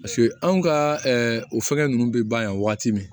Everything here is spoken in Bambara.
Paseke anw ka o fɛngɛ ninnu bɛ ban yan waati min